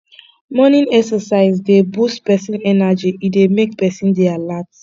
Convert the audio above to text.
morning exercise dey boost person energy e dey make person dey alert